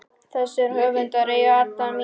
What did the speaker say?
Þessir höfundar eiga alla mína samúð.